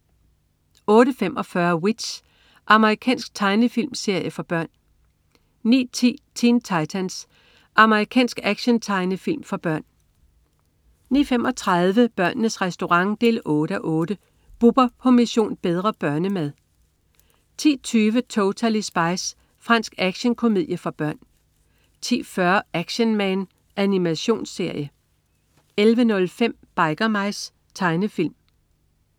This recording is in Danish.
08.45 W.i.t.c.h. Amerikansk tegnefilmserie for børn 09.10 Teen Titans. Amerikansk actiontegnefilm for børn 09.35 Børnenes Restaurant 8:8. Bubber på "Mission: Bedre børnemad" 10.20 Totally Spies. Fransk action-komedie for børn 10.40 Action Man. Animationsserie 11.05 Biker Mice. Tegnefilm